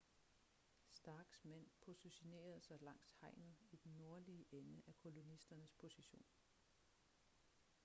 starks mænd positionerede sig langs hegnet i den nordlige ende af kolonisternes position